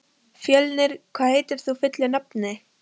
Fjölnir, hvað heitir þú fullu nafni?